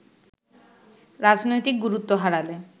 রাজনৈতিক গুরুত্ব হারালে